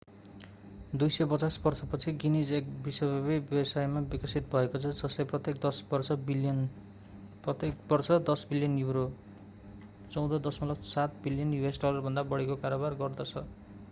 250 वर्षपछि गिनीज एक विश्वव्यापी व्यवसायमा विकसित भएको छ जसले प्रत्येक बर्ष 10 बिलियन युरो us$14.7 बिलियनभन्दा बढीको कारोबार गर्दछ।